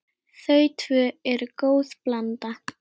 Þau tvö eru góð blanda.